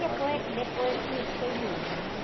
Depois, depois que fiquei viúva.